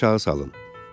Əliniz aşağı salın.